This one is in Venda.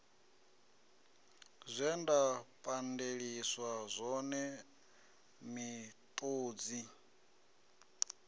zwe nda pandeliswa zwone miṱodzi